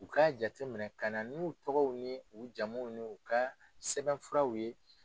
U ka jate minɛ ka na n'u tɔgɔw ni u jamuw n'u ka sɛbɛnfuraw ye